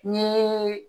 N ye